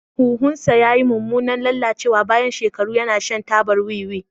Huhunsa ya yi mummunan lalacewa bayan shekaru yana shan tabar wiwi.